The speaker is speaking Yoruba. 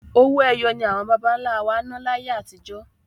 Owó ẹyọ ni àwọn bàbáńlá wá ná láyé atijọ́.